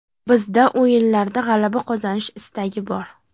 Bizda o‘yinlarda g‘alaba qozonish istagi bor.